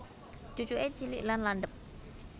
Cucuke cilik lan landhep